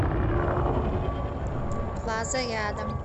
плаза рядом